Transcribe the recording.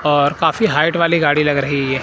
और काफी हाइट वाली गाड़ी लग रही--